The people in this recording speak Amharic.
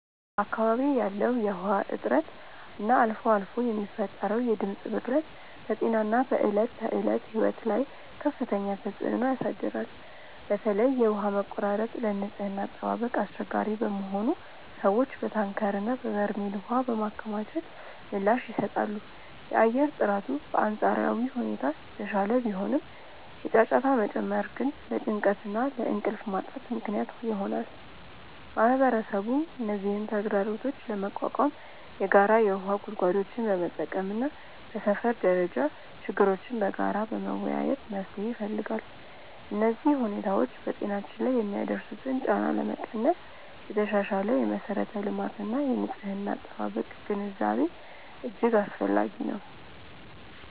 በአካባቢዬ ያለው የውሃ እጥረት እና አልፎ አልፎ የሚፈጠረው የድምፅ ብክለት በጤናና በዕለት ተዕለት ሕይወት ላይ ከፍተኛ ተጽዕኖ ያሳድራል። በተለይ የውሃ መቆራረጥ ለንጽህና አጠባበቅ አስቸጋሪ በመሆኑ ሰዎች በታንከርና በበርሜል ውሃ በማከማቸት ምላሽ ይሰጣሉ። የአየር ጥራቱ በአንጻራዊ ሁኔታ የተሻለ ቢሆንም፣ የጫጫታ መጨመር ግን ለጭንቀትና ለእንቅልፍ ማጣት ምክንያት ይሆናል። ማህበረሰቡም እነዚህን ተግዳሮቶች ለመቋቋም የጋራ የውሃ ጉድጓዶችን በመጠቀምና በሰፈር ደረጃ ችግሮችን በጋራ በመወያየት መፍትሄ ይፈልጋል። እነዚህ ሁኔታዎች በጤናችን ላይ የሚያደርሱትን ጫና ለመቀነስ የተሻሻለ የመሠረተ ልማትና የንጽህና አጠባበቅ ግንዛቤ እጅግ አስፈላጊ ነው።